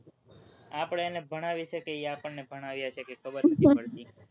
આપણે એને ભણાવીએ છે કે એ આપણને ભણાવે છે એ કઈ ખબર નહીં પડતી,